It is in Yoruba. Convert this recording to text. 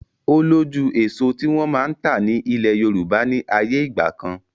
O lójú èso tí wọn máa ń ta ni ilẹ̀ Yorùbá ni ayé ìgbàkan.